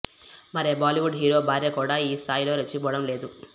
మరే Bollywood hero భార్య కూడా ఈ స్థాయిలో రెచ్చిపోవడం లేదు